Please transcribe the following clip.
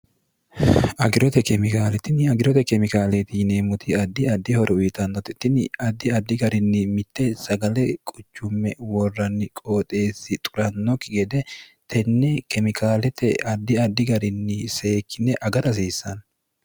agirote kemikaale tinni agirote kemikaaleti yineemmoti addi addi horo uyitannote tinni addi addi garinni mitte sagale quchumme worranni qooxeessi xurannokki gede tenne kemikaalete addi addi garinni seekkine agara hasiissanni